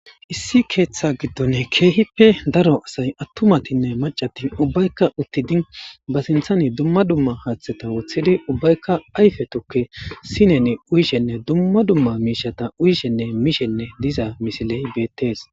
issi keeththa giddon keehippe daro asay attumatinne macati ubbaykka uttidi ba sinthani dumma dumma haaththeta woththidi ubbaykka ayfe tokke sineni uyishenne dumma dumma miishata uyishenne mishenne diza misiley beettees.